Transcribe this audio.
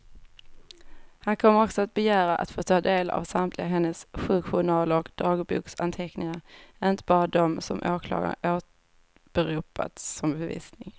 Han kommer också att begära att få ta del av samtliga hennes sjukjournaler och dagboksanteckningar, inte bara dem som åklagaren åberopat som bevisning.